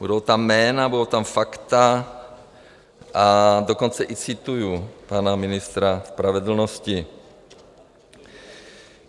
Budou tam jména, budou tam fakta, a dokonce i cituji pana ministra spravedlnosti.